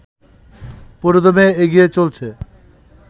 পুরোদমে এগিয়ে চলছে